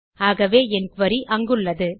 ஆகவே என் குரி அங்குள்ளது